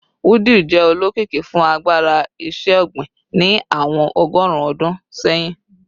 Wudil jẹ olokiki fun agbara iṣẹ-ogbin ni awọn ọgọrun ọdun sẹhin